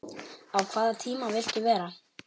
á hvaða tíma viltu vera?